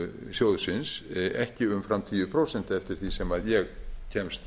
sjóðsins ekki umfram tíu prósent eftir því sem ég kemst